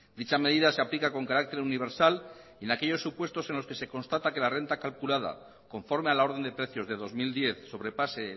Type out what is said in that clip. dicha medida se aplica con carácter universal en aquellos supuestos en los que se constata que la renta calculada conforme a la orden de precios de dos mil diez sobrepase